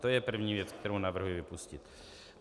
To je první věc, kterou navrhuji vypustit.